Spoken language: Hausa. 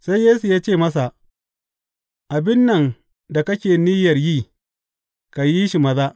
Sai Yesu ya ce masa, Abin nan da kake niyyar yi, ka yi shi maza.